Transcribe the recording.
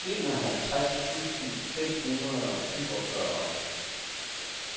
enoghalvtreds tusind fem hundrede og syvogfyrre